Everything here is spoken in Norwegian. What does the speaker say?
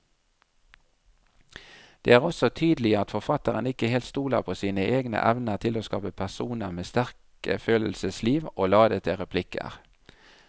Det er også tydelig at forfatteren ikke helt stoler på sine egne evner til å skape personer med sterke følelsesliv og ladete replikker.